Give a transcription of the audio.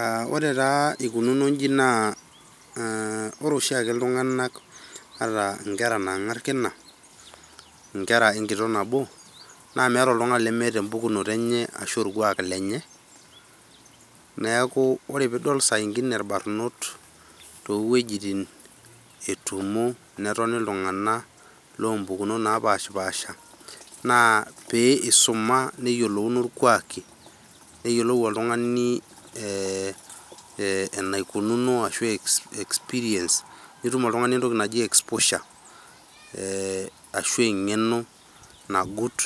Aaa ore taa ekununo ji naa ore aa oshiake iltungana ata nkera naangar kina, nkera ekitok nabo naa, meeta oltungani lemeeta epukunoto anye ashu orkuak leny. Neaku saa ingine pee idol irbanot too wujitin etumo netoni iltungana loo pukumot napisipasha, naa eisuma neyiolouno irkuaki neyiolou oltungani eee enaikununo ashu experience nitum oltungani etoki naji exposier Eeh ashu engeno nagut